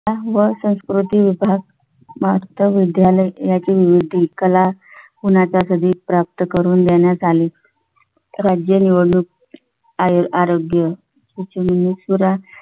व संस्कृती विभाग महार्त विद्यालय त्याची विविध कला कधी प्राप्त करून देण्यास आले राज्य निवडणूक आहेर आरोग्य त्याची निमिष पुरा